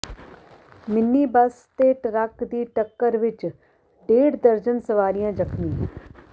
mini bus ਤੇ truck ਦੀ ਟੱਕਰ ਵਿੱਚ ਡੇਢ ਦਰਜਨ ਸਵਾਰੀਆਂ ਜ਼ਖ਼ਮੀ